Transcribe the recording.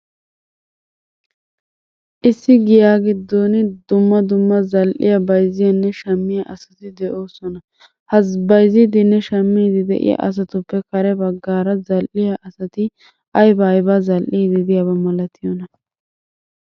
Issi giyaa giddin dumma dumma zal'iya bayzziyaane shammiya asati de'oosona. Ha bayzziidinne shammiidi diya asatuppe kare bagaara zal'iya asati aybaa aybaa zal'idi diyaba malattiyoonaa?